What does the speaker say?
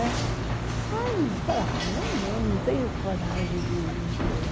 Né, eu falei, eu não tenho coragem de me expor.